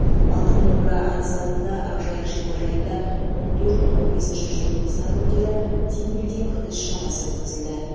алтын домбыра айтысы алдында ақжайық шипажайында он төрт он бесінші желтоқсан күндері тимбилдинг іс шарасы өткізілді